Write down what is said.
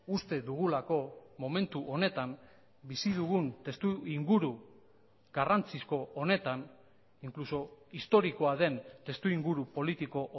uste dugulako momentu honetan bizi dugun testuinguru garrantzizko honetan inkluso historikoa den testuinguru politiko